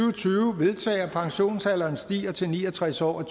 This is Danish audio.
vedtage at pensionsalderen stiger til ni og tres år i